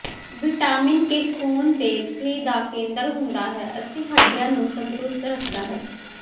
vitamin K ਖੂਨ ਦੇ ਥੱਿੇ ਦਾ ਕੇਂਦਰ ਹੁੰਦਾ ਹੈ ਅਤੇ ਹੱਡੀਆਂ ਨੂੰ ਤੰਦਰੁਸਤ ਰੱਖਦਾ ਹੈ